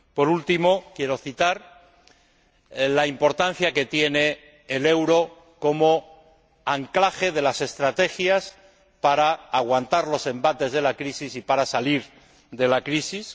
Por último, quiero citar la importancia que tiene el euro como anclaje de las estrategias para aguantar los embates de la crisis y para salir de la crisis.